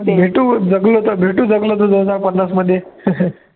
भेटू जगलो तर, भेटू जगलो तर दोन हजार पन्नासमध्ये